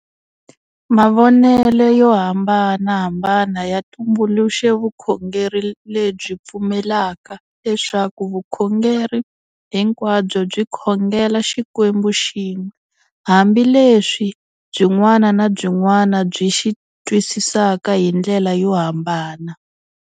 Mavonele yo hambanahambana ya tumbuluxe vukhongeri lebyi pfumelaka leswaku vukhongeri hinkwabyo byi khongela xikwembu xin'we hambi leswi byin'wana na byin'wana byi xi twisisaka hi ndlela yo hambana.